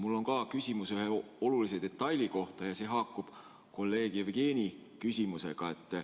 Mul on ka küsimus ühe olulise detaili kohta ja see haakub kolleeg Jevgeni küsimusega.